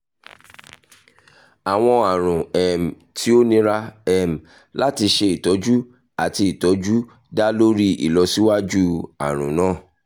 awọn arun um ti o nira um lati ṣe itọju ati itọju da lori ilọsiwaju arun naa